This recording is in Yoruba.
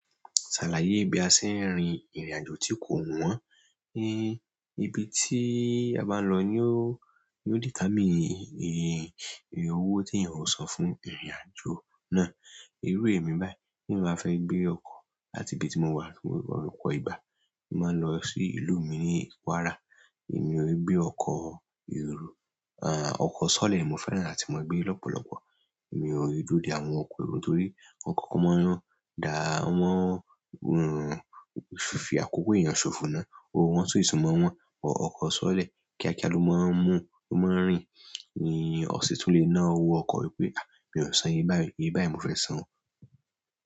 Ṣàlàyé bí a ṣe ń rin ìrìn àjò tí kò wọ́n. Ibi tí a bá lọ ni ó, ni ó determine iye iye owó tí èyàn ò san fún ìrìn àjò náà. Irú èmi báyìí, tèmi bá fẹ́ gbé ọkọ̀ láti ibi tí mo wà, ọ̀pọ̀ ìgbà, mo máa ń lọ sí ìlú mi ní Kwara. Èmi ò gbé ọkọ̀ èrò à, ọkọ̀ sọ́lẹ̀ mo fẹ́ràn láti máa gbé lọ́pọ̀lọ́pọ̀. Èmi ò ni dúró de àwọn ọkọ̀ èrò torí ọkọ̀ kan mọ́ wọn dá, wọ́n, màá hun fi àkókò èèyàn ṣòfò náà. Owó wọn sì tún mọ́ wọn. Ọkọ̀ sọ́lẹ̀ kíákíá ló máa ń mú, ló máa ń rìn ni ó sì tún le ná owó ọkọ̀ wípé, "à, mi ò san ye báyìí, iye báyìí mo fẹ́ san o."